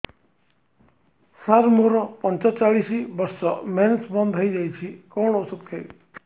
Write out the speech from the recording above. ସାର ମୋର ପଞ୍ଚଚାଳିଶି ବର୍ଷ ମେନ୍ସେସ ବନ୍ଦ ହେଇଯାଇଛି କଣ ଓଷଦ ଖାଇବି